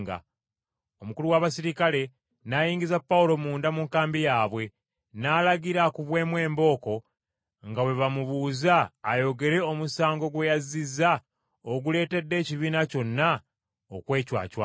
Omukulu w’abaserikale n’ayingiza Pawulo munda mu nkambi yaabwe, n’alagira akubwemu embooko nga bwe bamubuuza ayogere omusango gwe yazzizza oguleetedde ekibiina kyonna okwecwacwana.